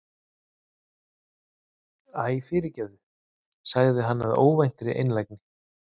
Æ, fyrirgefðu- sagði hann af óvæntri einlægni.